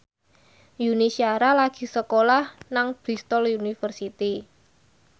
Yuni Shara lagi sekolah nang Bristol university